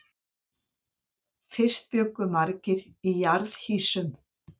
Fyrst bjuggu margir í jarðhýsum.